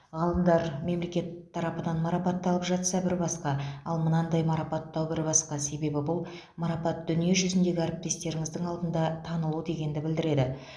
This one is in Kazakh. ғалымдар мемлекет тарапынан марапатталып жатса бір басқа ал мынадай марапаттау бір басқа себебі бұл марапат дүниежүзіндегі әріптестеріңіздің алдында танылу дегенді білдіреді